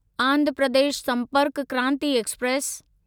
Andhra Pradesh Sampark Kranti express